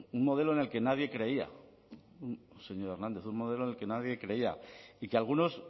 un modelo en el que nadie creía señor hernández un modelo el que nadie creía y que algunos